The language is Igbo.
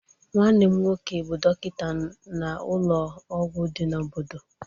Nwanne m nwoke bụ dọkịta n'ụlọ ọgwụ di na obodo.